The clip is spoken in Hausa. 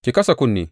Ki kasa kunne!